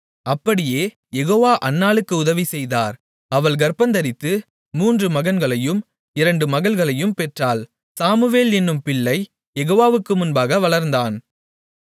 அப்படியே யெகோவா அன்னாளுக்கு உதவிசெய்தார் அவள் கர்ப்பந்தரித்து மூன்று மகன்களையும் இரண்டு மகள்களையும் பெற்றாள் சாமுவேல் என்னும் பிள்ளை யெகோவாவுக்கு முன்பாக வளர்ந்தான்